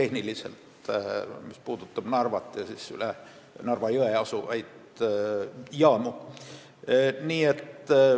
See puudutab Narvat ja üle Narva jõe asuvaid jaamu.